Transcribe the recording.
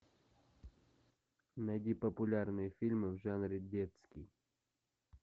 найди популярные фильмы в жанре детский